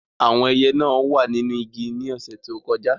Àwọn ẹyẹ náà wà nínú igi ní ọ̀sẹ̀ tó kọjá.